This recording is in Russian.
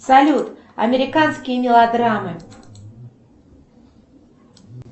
салют американские мелодрамы